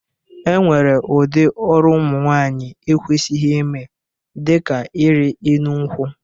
E nwere ụdị ọrụ ụmụnwaanyị e kwesighi ime dị ka ịrị enu nkwụ.